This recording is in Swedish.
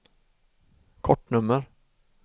kortnummer